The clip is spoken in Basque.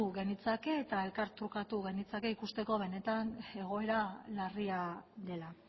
genitzake eta elkartrukatu genitzake ikusteko benetan egoera larria dela